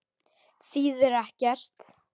Þýðir ekkert.